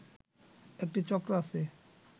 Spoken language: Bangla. একটি চক্র আছে